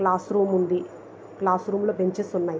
Class room ఉంది. Classroom లో benches ఉన్నాయి.